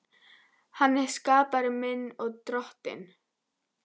Hann er skapari minn og Drottinn.